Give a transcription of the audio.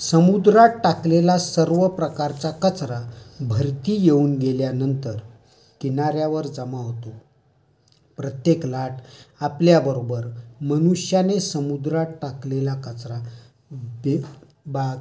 समुद्रात टाकलेला सर्व प्रकारचा कचरा भरती येऊन गेल्यानंतर किनार् यावर जमा होतो. प्रत्येक लाट आपल्याबरोबर मनुष्याने समुद्रात टाकलेला कचरा